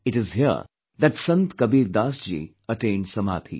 It is here that Sant Kabir Das ji attained Samadhi